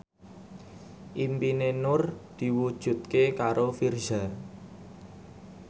impine Nur diwujudke karo Virzha